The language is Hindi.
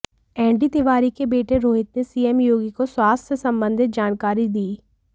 एनडी तिवारी के बेटे रोहित ने सीएम योगी को स्वास्थ्य संबंधित जानकारी दी